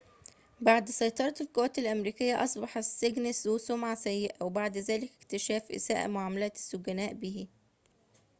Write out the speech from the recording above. بعد سيطرة القوات الأمريكية أصبح السجن ذو سمعة سيئة وذلك بعد اكتشاف إساءة معاملة السجناء به